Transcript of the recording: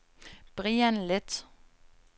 Brian Leth